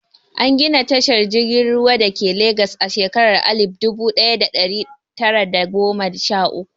An gina tashar jirgin ruwa dake Legas a shekara alif dubu ɗaya da ɗari tara da goma sha uku.